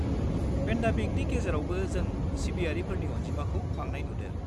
पेन्देमिकनि गेजेरावबो जों सिबियारिफोरनि अनजिमाखौ बांनाय नुदों।